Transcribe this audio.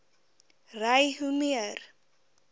ry hoe meer